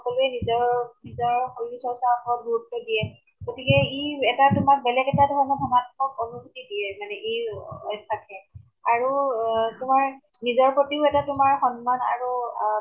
সকলোৱে নিজৰ নিজৰ শৰীৰ চৰ্চা ওপৰত গুৰুত্ব দিয়ে । গতিকে ই এটা তোমাক বেলেগ এটা ধৰণে ধনাত্মক আনুভূতি দিয়ে মানে এই থাকে । আৰু আ তোমাৰ নিজৰ প্ৰতিও এটা তোমাৰ সন্মান আৰু অ